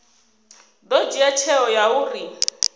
ḓo dzhia tsheo ya uri